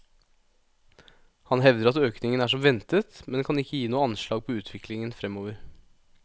Han hevder at økningen er som ventet, men kan ikke gi noe anslag på utviklingen fremover.